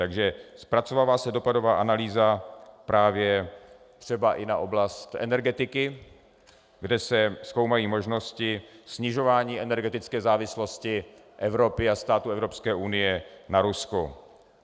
Takže zpracovává se dopadová analýza právě třeba i na oblast energetiky, kde se zkoumají možnosti snižování energetické závislosti Evropy a států Evropské unie na Rusku.